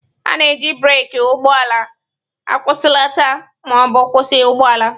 A na-eji breeki ụgbọ ala akwụsịlata ma ọ bụ kwụsị ụgbọ ala.